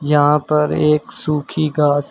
यहां पर एक सुखी घास है।